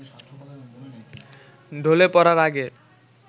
ঢলে পড়ার আগে